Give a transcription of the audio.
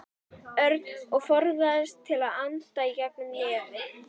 Örn og forðaðist að anda í gegnum nefið.